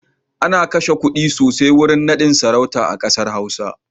Ana kashe kuɗi sosai wurin naɗin sarauta a ƙasar Hausa.